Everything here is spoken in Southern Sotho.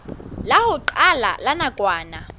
la ho qala la nakwana